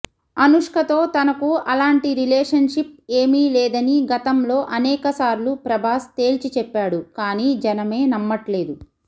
అనుష్కతో తనకు అలాంటి రిలేషన్షిప్ ఏమీ లేదని గతంలో అనేకసార్లు ప్రభాస్ తేల్చిచెప్పాడు కానీ జనమే నమ్మట్లేదు